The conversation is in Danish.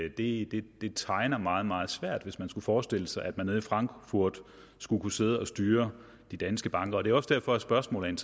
i at det tegner meget meget svært hvis man skulle forestille sig at de nede i frankfurt skulle kunne sidde og styre de danske banker det er også derfor spørgsmålet